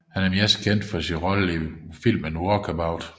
Han er mest kendt for sin rolle i filmen Walkabout